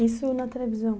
Isso na televisão?